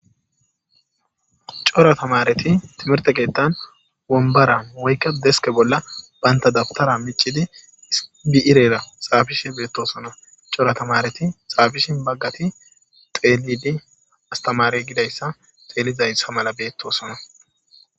Cora tamareti timerte geettan wombara woykka deske bolla bayntadabtara micidi biirera xaabishe beettosona cora tamareti xaabishi baggati xeelidi astamare gidayssa xeelizaysa mala beettosona.